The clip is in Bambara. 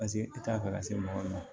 Paseke i t'a fɛ ka se mɔgɔ ma